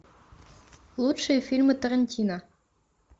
лучшие фильмы тарантино